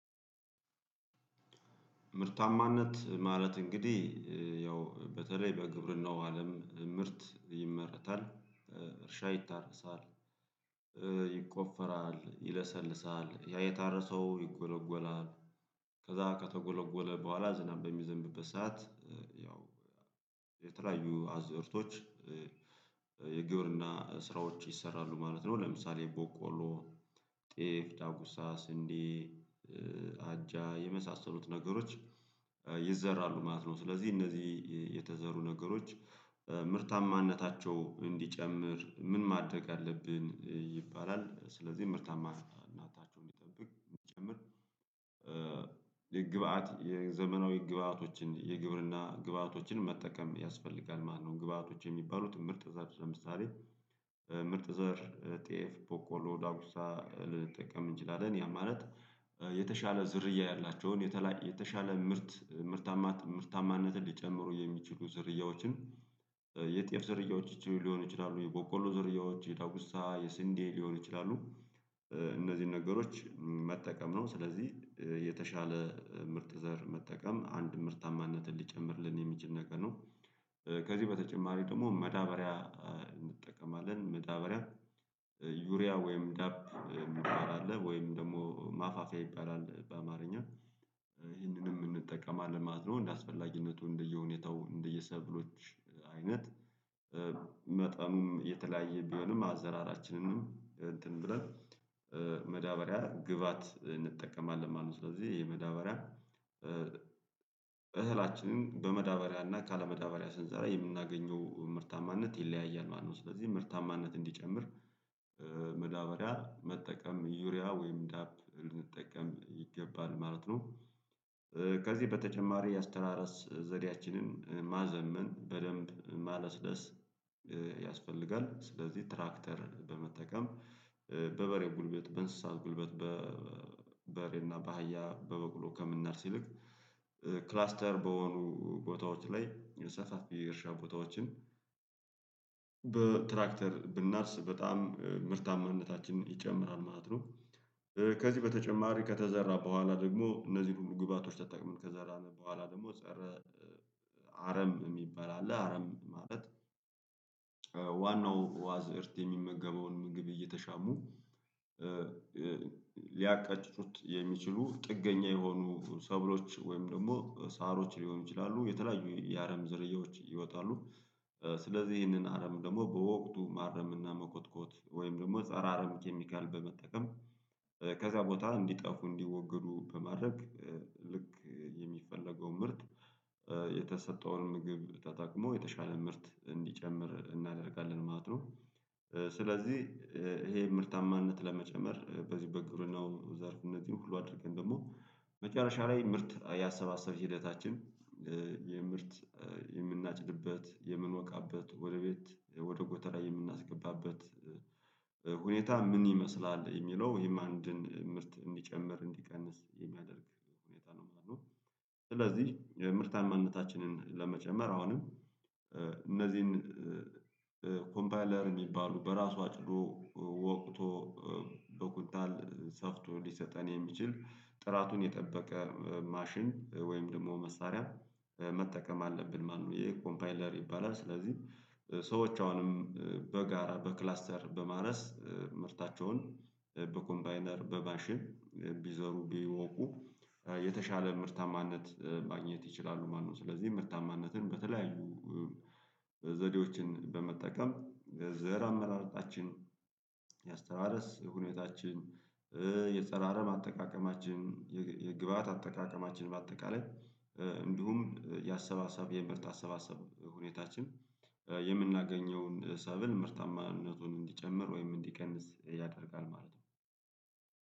ምርታማነት ማለት እንግዲህ ያው በተለይ በግብርናው አለም ምርት ይመረታል እርሻ ይታረሳል ይቆፈራል ይለሰልሳል ያ የታረሰው ይጎለጎላል ከዛ ከተጎለጎለ በኋላ ዝናብ በሚዘንብበት ሰዓት ያው የተለያዩ አዝርቶች የግብርና ስራዎች ይሰራሉ ማለት ነው ለምሳሌ ቦቆሎ ጤፍ ዳጉሳ ስንዴ አጃ የመሳሰሉት ነገሮች ይዘራሉ ማለት ነው ስለዚህ እነዚህ የተዘሩ ነገሮች ምርታማነታቸው እንዲጨምር ምን ማደግ አለብን ይባላል ስለዚህ ምርታማነታቸውን የሚጠብቅ የሚጨምር የግብአት የዘመናዊ ግብአቶችን የግብርና ግብአቶችን መጠቀም ያስፈልጋል ማለት ነው ግብአቶች የሚባሉት ምርጥ ዘር ለምሳሌ ምርጥ ዘር ጤፍ በቆሎ ዳውሳ ልጠቀም እንችላለን ያ ማለት የተሻለ ዝርያ ያላቸውን የተሻለ ምርት ምርታማነትን ሊጨምሩ የሚችሉ ዝርያዎችን የጤፍ ዘርያዎች ሊሆን ይችላሉ የበቆሎ ዘርያዎች የዳጉሳ የስንዴ ሊሆን ይችላሉ እነዚህን ነገሮች መጠቀም ነው ስለዚህ የተሻለ ምርጥ ዘር መጠቀም አንድ ምርታማነትን ሊጨምርልን የሚችል ነገር ነው። ከዚህ በተጨማሪ ደግሞ መዳበሪያ እንጠቀማለን መዳበሪያ ዩሪያ ወይም ዳብ የሚባል አለ ወይም ደግሞ ማፋፊያ ይባላል በአማርኛ ይህንንም እንጠቀማለን ማለት ነው እንደ አስፈላጊነቱ እንደየሁኔታው እንደየሰብሎች አይነት መጠኑም የተለያየ ቢሆንም አዘራራችንንም እንትን ብለን መዳበሪያ ግብአት እንጠቀማለን ማለት ነው። ስለዚህ ይሄ መዳበሪያ እህላችንን በመዳበሪያ እና ካለመዳበሪያ ስንዘራ የምናገኘው ምርታማነት ይለያያል ማለት ነው ስለዚህ ምርታማነት እንዲጨምር መዳበሪያ መጠቀም ዩሪያ ወይም ዳፕ ልንጠቀም ይገባል ማለት ነው ከዚህ በተጨማሪ የአስተራረስ ዘዴያችንን ማዘመን በደንብ ማለስለስ ያስፈልጋል ስለዚህ ትራክተር በመጠቀም በበሬው ጉልበት በእንስሳት ጉልበት በሬና በሃያ በበቅሎ ከምናርስ ይልቅ ክላስተር በሆኑ ቦታዎች ላይ የሰፋፊ የእርሻ ቦታዎችን በትራክተር ብናርስ በጣም ምርታማነታችን ይጨምራል ማለት ነው ከዚህ በተጨማሪ ከተዘራ በኋላ ደግሞ እነዚህን ሁሉ ግብአቶች ተጠቅመን ከዛ በኋላ ደግሞ ፀረ አረም የሚባል አለ አረም ማለት ዋናው አዝርት የሚመገበውን ምግብ እየተሻሙ ሊያቀጭጩቱ የሚችሉ ጥገኛ የሆኑ ሰብሎች ወይም ደግሞ ሳሮች ሊሆኑ ይችላሉ የተለያዩ የአረም ዘርያዎች ይወጣሉ ስለዚህ ይህንን አረም ደግሞ በወቅቱ ማረም እና መኮትኮት ወይም ደግሞ ፀረ አረም ኬሚካል በመጠቀም ከዛ ቦታ እንዲጠፉ እንዲወገዱ በማድረግ ልክ የሚፈለገው ምርት የተሰጠውን ምግብ ተጠቅሞ የተሻለ ምርት እንዲጨምር እናደርጋለን ማለት ነው። ስለዚህ ይሄን ምርታማነት ለመጨመር በዚህ በግብርናው ዘርፍ እነዚህን ሁሉ አድርገን ደግሞ መጨረሻ ላይ ምርት ያሰባሰብ ሂደታችን የምርት የምናጭድበት የምንወቃበት ወደ ቤት ወደ ጎተራ የምናስገባበት ሁኔታ ምን ይመስላል የሚለው ይሄም አንድን ምርት እንዲጨምር እንዲቀንስ የሚያደርግ ሁኔታ ነው ማለት ነው ስለዚህ ምርታማነታችንን ለመጨመር አሁንም እነዚህን ኮምፓይለር የሚባሉ በራሱ አጭዶ ወቅቶ በኩታል ሰፍቶ ሊሰጠን የሚችል ጥራቱን የጠበቀ ማሽን ወይም ደግሞ መሳሪያ መጠቀም አለብን ማነው ይሄ ኮምፓይለር ይባላል ስለዚህ ሰዎች አሁንም በጋራ በክላስተር በማረስ ምርታቸውን በኮምባይነር በባሽን ቢዞሩ ቢወቁ የተሻለ ምርታማነት ማግኘት ይችላሉ ማነው ስለዚህ ምርታማነትን በተለያዩ ዘዴዎችን በመጠቀም ዘር አመራርጣችን የአስተራረስ ሁኔታችን አጠቃቀማችን የግብአት አጠቃቀማችን በአጠቃላይ እንዲሁም ያሰባሰብ የምርት አሰባሰብ ሁኔታችን የምናገኘውን ሰብል ምርታማነቱን እንዲጨምር ወይም እንዲቀንስ ያደርጋል ማለት ነው።